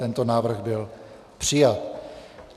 Tento návrh byl přijat.